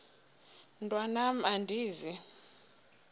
mntwan am andizi